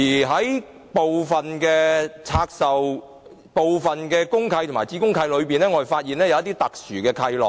在部分公契和子公契中，我們發現一些特殊契諾。